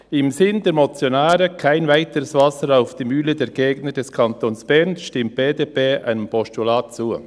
Im Sinn der Motionäre, «[kein weiteres] Wasser auf die Mühlen der Gegner des Kantons Bern», stimmt die BDP dem Postulat zu.